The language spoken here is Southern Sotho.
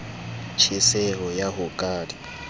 tjheseho ya ho ka di